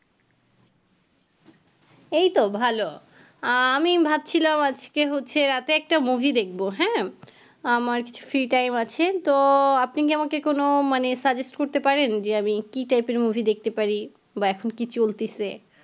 এই তো ভালো আমি ভাবছিলাম আজকে হচ্ছে রাতে একটা মুভি দেখবো হ্যাঁ আমার কিছু free time আছে তো আপনি কি আমাকে কোনও মানে suggest করতে পারেন যে আমি কি type এর মুভি দেখতে পারি বা এখন কি চলতেসে